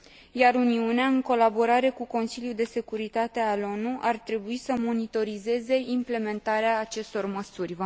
Iar Uniunea, în colaborare cu Consiliul de Securitate al ONU, ar trebui să monitorizeze implementarea acestor măsuri.